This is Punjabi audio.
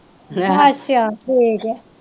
ਅਛੇਆ ਠੀਕ ਏ